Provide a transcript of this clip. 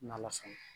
N'ala sɔnna